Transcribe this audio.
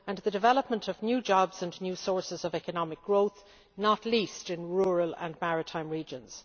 and the development of new jobs and new sources of economic growth, not least in rural and maritime regions.